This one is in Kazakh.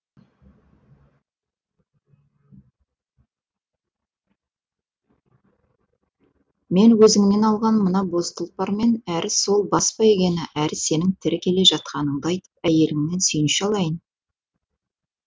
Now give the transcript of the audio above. мен өзіңнен алған мына боз тұлпармен әрі сол бас бәйгені әрі сенің тірі келе жатқаныңды айтып әйеліңнен сүйінші алайын